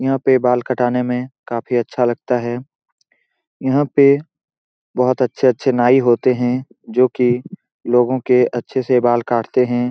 यहाँ पे बाल कटाने में काफी अच्छा लगता है यहाँ पे बहुत अच्छे-अच्छे नाई होते है जो की लोगो के अच्छे से बाल काटते है ।